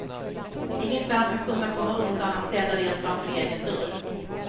Inget land ska kunna komma undan att städa rent framför egen dörr.